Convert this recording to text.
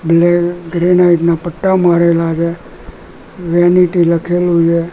અને ગ્રેનાઈટ ના પટ્ટા મારેલા છે વેનિટી લખેલુ છે.